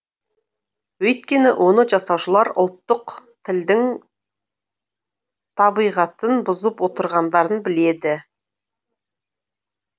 өйткені оны жасаушылар ұлттық тілдің табиғатын бұзып отырғандарын біледі